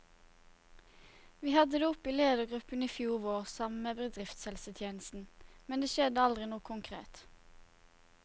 Vi hadde det oppe i ledergruppen i fjor vår, sammen med bedriftshelsetjenesten, men det skjedde aldri noe konkret.